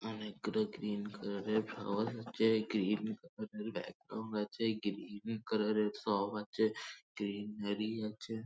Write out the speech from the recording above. অনেকগুলো green colour -এর ফল যেই গ্রীন কালার -এর ব্যাগ -টোর মধ্যে আছে গ্রীন কালার -এর সব আছে গ্রীন বেরি আছে ।